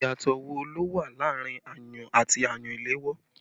Ìyàtọ̀ wo ló wà láàrin ayùn àti ayùn ìléwọ́?